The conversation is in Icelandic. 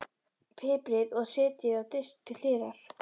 Piprið og setjið á disk til hliðar.